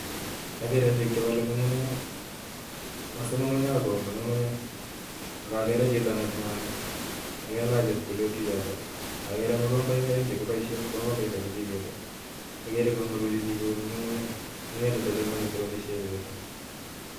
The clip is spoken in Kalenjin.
Agere biik chebole ngungunyek I,wosuu ngungunyek ak koyumi ngungunye, ak agere chito nenyone, agere kalach chepkulet chichitok agere mokomboik oeng ak agere konguruksei biik koyumi ngungunyek, ngungunyek chutok chu moche sikoboishien bichu